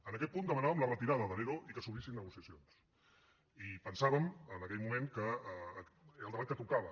en aquest punt demanàvem la retirada de l’ero i que s’obrissin negociacions i pensàvem en aquell moment que era el debat que tocava